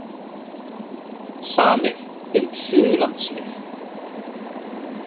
Samið um Suðurlandsveg